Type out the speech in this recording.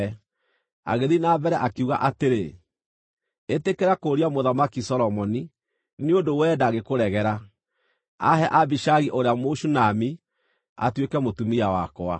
Agĩthiĩ na mbere, akiuga atĩrĩ, “Ĩtĩkĩra kũũria Mũthamaki Solomoni, nĩ ũndũ wee ndangĩkũregera, aahe Abishagi ũrĩa Mũshunami atuĩke mũtumia wakwa.”